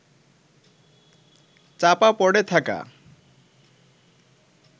চাপা পড়ে থাকা